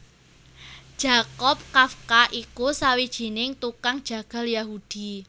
Jakob Kafka iku sawijining tukang jagal Yahudi